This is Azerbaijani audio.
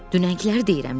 Dünəngiləri deyirəm də.